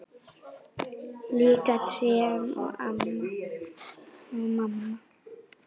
Líka trén og mamma.